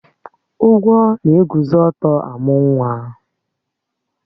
Ugwo na-eguzo ọ̀tọ́ amú nwa